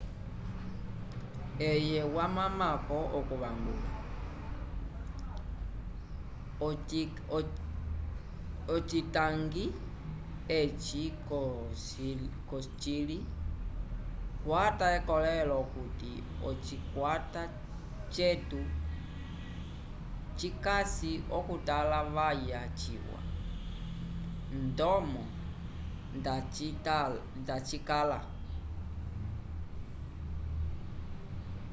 eye wamamako okuvangula ocitangi eci cocili kwata ekolelo okuti ocikwata cetu cikasi okutalavaya ciwa ndomo nda cikala